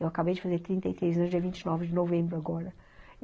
Eu acabei de fazer trinta e três anos, dia vinte e nove de novembro agora.